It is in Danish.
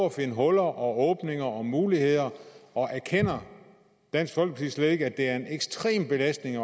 at finde huller og åbninger og muligheder og erkender dansk folkeparti slet ikke at det er en ekstrem belastning at